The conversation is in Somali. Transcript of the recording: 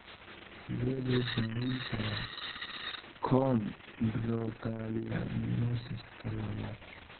Sidee loo daweyn karaa chondrocalcinosika labaad?